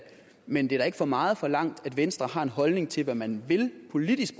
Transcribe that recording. men det er da ikke for meget forlangt at venstre har en holdning til hvad man politisk